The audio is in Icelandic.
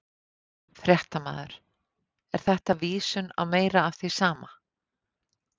Fréttamaður: Er þetta vísun á meira af því sama?